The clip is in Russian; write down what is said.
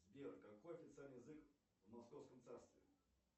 сбер какой официальный язык в московском царстве